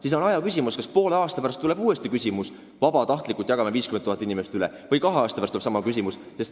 Me ei tea, kas poole aasta või kahe aasta pärast tuleb uuesti arutada küsimust, kas me vabatahtlikult jagame 50 000 inimest omavahel ära.